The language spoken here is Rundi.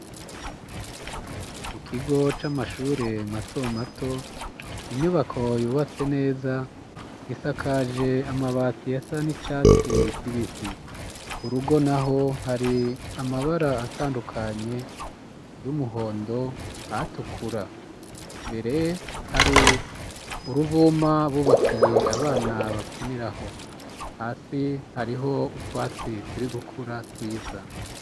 Mu kigo c'amashure mato mato inyubako yubatse neza gisakaje amabati ya sa n'icatsi kibisi ku rugo na ho hari amabara atandukanye y'umuhondo atukura mbere hari uruvuma bubakiye abana bakiniraho hasi hariho utwatsi turi gukura twiza.